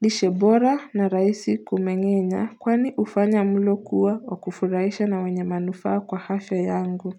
lishe bora na rahisi kumengenya kwani ufanya mlo kuwa wa kufurahisha na wenye manufaa kwa afya yangu.